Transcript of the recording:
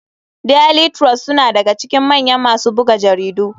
Daily trust suna daga cikin mayan masu buga jaridu.